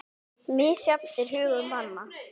Misjafn er hugur manna